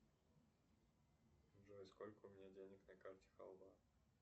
джой сколько у меня денег на карте халва